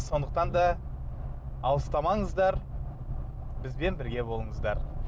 сондықтан да алыстамаңыздар бізбен бірге болыңыздар